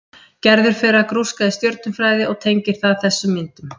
Gerður fer að grúska í stjörnufræði og tengir það þessum myndum.